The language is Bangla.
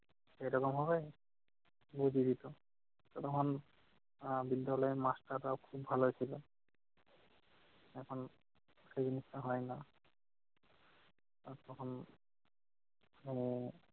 এরকম হবে বুঝিয়ে দিত। তখন আহ বিদ্যালয়ের master রা খুব ভালো ছিল। এখন সেই জিনিসটা হয়না। আর তখন মানে